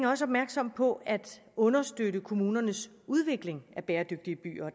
også opmærksom på at understøtte kommunernes udvikling af bæredygtige byer